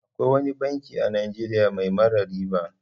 Akwai wani banki a Najeriya mai mara riba.